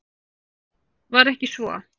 Var ekki svo?